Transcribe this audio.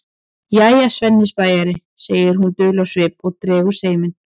Jæja, Svenni spæjari, segir hún dul á svip og dregur seiminn.